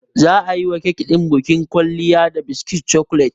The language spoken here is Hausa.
Za a yiwa kek ɗin bukin kwalliya da biskit cokolet.